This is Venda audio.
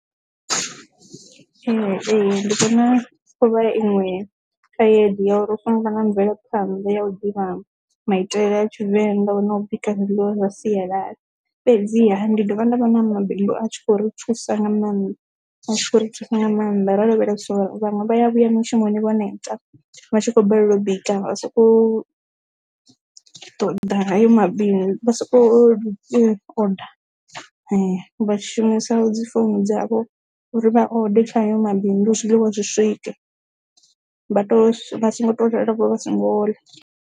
Ee, ndi vhona thovhela iṅwe khaedu ya uri hu songo vha na mvelaphanḓa ya u ḓivha maitele a tshivenḓa nda kona u bika zwiḽiwa zwa sialala fhedziha ndi dovha nda vha na mabindu a tshi khou ri thusa nga maanḓa hu tshi khou ri thuse nga maanḓa ro lavheleswa vhaṅwe vha ya vhuya mushumoni vho neta vhatshi kho balelwa u bika vha soko ṱoḓa nayo mabisi vha vha shumisa dzi founu dzavho uri vha ode tshayo mabindu zwiḽiwa zwi swike vha tou vha songo tou ḓala vho vha songo.